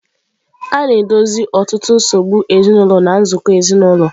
A na-edozi ọtụtụ nsogbu ezinụlọ na nzukọ ezinụlọ.